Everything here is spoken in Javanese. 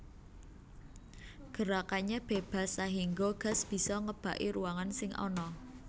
Gerakannya bebas sahingga gas bisa ngebaki ruangan sing ana